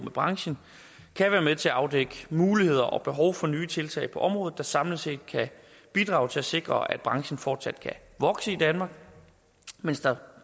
branchen kan være med til at afdække muligheder og behov for nye tiltag på området der samlet set kan bidrage til at sikre at branchen fortsat kan vokse i danmark mens der